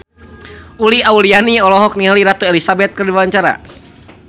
Uli Auliani olohok ningali Ratu Elizabeth keur diwawancara